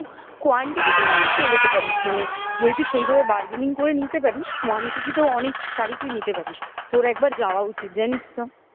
quantity তে অনেক পেয়ে যেতে পারিস মানে যদি তুই সেইভাবে burgaining করে নিতে পারিস quantity তেও অনেক শাড়ি তুই নিতে পারিস তোর একবার যাওয়া উচিত জানিস তো